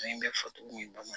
bɛ foto in bamanan